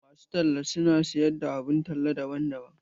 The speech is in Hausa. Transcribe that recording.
Masu talla su na siyar da abun talla daban-daban.